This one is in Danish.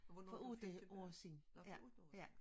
For 8 år siden ja ja